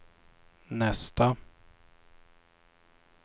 nästa